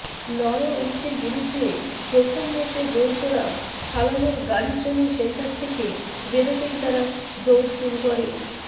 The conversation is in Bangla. নরউইচের বিরুদ্ধে প্রথম ম্যাচে গোল করা সালাহর গাড়ি ট্রেনিং সেন্টার থেকে বেরোতেই তারা দৌড় শুরু